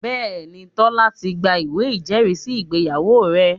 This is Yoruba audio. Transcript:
Bẹ́ẹ̀ni, Tọ́lá ti gba ìwé ìjẹ́rìísí ìgbéyàwó rẹ̀